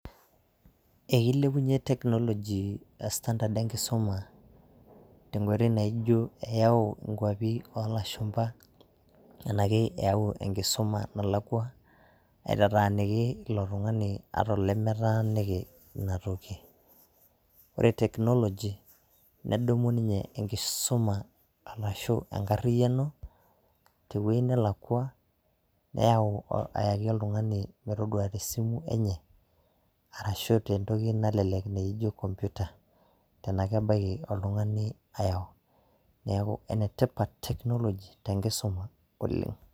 Ekeilepunye technology standard enkisuma tenkoitoi naijo eyau nkuapi oolashumba anake eyau enkisuma nalakwa aitataaniki ilo tungani ata tenaa kelakua . Ore teknoloji nedumu enkisuma arashhu enkariyiani tewueji nalakua neyau ayaki oltungani metodua tesimu enye arashu tentoki nalelek naijo kompuyta tenaa kebaiki oltungani ayau neeku enetipat technology tenkisuma oleng.